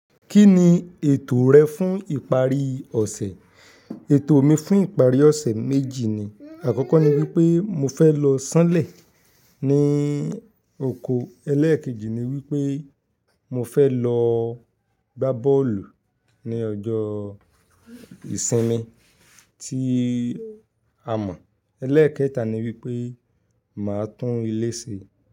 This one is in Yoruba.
Kí ni ètò rẹ fún ìparí ọ̀sẹ̀? Ètò mi fún ìparí ọ̀sẹ̀ méjì ni. Àkọ́kọ́ ni wípé mo fẹ́ lọ sánlẹ̀ ní oko, ẹlẹ́ẹ̀kejì ni wípé mo fẹ́ lọ gbá bọ́ọ̀lù ní ọjọ́ ìsinmi tí a mọ̀, ẹlẹ́ẹ̀kẹta ni wípé màá tún ilé ṣe.